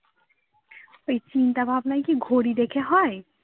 ওই চিন্তা ভাবনায় কি ঘড়ি দেখে হয়?